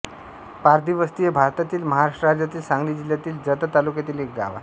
पारधीवस्ती हे भारतातील महाराष्ट्र राज्यातील सांगली जिल्ह्यातील जत तालुक्यातील एक गाव आहे